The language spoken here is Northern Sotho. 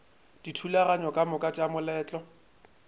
dithulaganyo ka moka tša moletlo